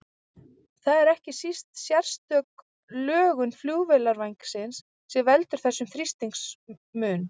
Það er ekki síst sérstök lögun flugvélarvængsins sem veldur þessum þrýstingsmun.